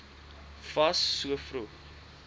fas so vroeg